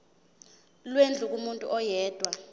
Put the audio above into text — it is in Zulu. lwendlu kumuntu oyedwa